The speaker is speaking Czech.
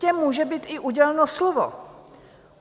Těm může být i uděleno slovo.